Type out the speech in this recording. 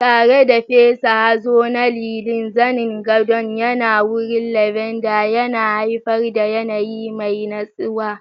Tare da fesa hazo na lilin, zanen gadon yana warin lavender, yana haifar da yanayi mai natsuwa.